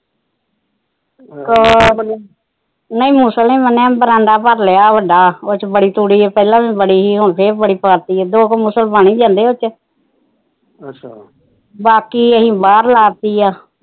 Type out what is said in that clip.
ਨਹੀਂ ਮੁਸਲੇ ਬਰਾਂਡਾ ਭਰ ਲਿਆ ਬੱਡਾ ਉਹਦੇ ਚ ਬੜੀ ਤੂੜੀ ਪਹਿਲਾ ਵੀ ਬੜੀ ਹੁਣ ਫੇਰ ਬੜੀ ਪਾਤੀ ਦੋ ਕ ਮੁਸ ਬਣ ਹੀ ਜਾਂਦੇ ਉਹਦੇ ਚ ਬਾਕੀ ਅਸੀ ਬਾਹਰ ਲਾਤੀ ਆ